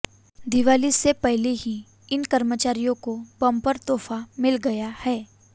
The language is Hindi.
दीवाली से पहले ही इन कर्मचारियों को बंपर तोहफा मिल गया है